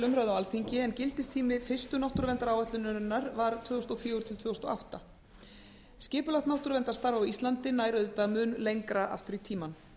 umræðu á alþingi en gildistími fyrstu náttúruverndaráætlunar var tvö þúsund og fjögur til tvö þúsund og átta skipulagt náttúruverndarstarf á íslandi nær auðvitað mun lengra aftur í tímann